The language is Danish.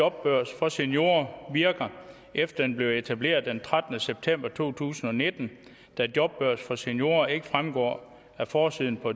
jobbørs for seniorer virker efter den blev etableret den trettende september to tusind og nitten da jobbørs for seniorer ikke fremgår af forsiden på